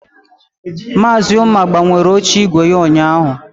Maazị Ụma gbanwere oche ígwè ya ụnyaahụ.